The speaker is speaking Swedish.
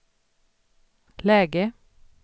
läge